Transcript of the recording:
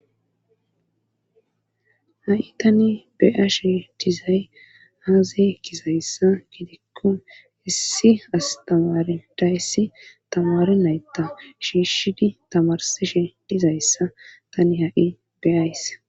Ha7i tani beyashe dizay haazi kisayssa gidikkun issi astamaridayssi tamari naytta shiishshidi tamarsishe dizayssa tani ha7i beyays.